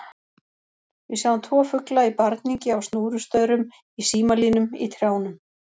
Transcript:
Við sjáum tvo fugla í barningi á snúrustaurum, í símalínum, í trjánum.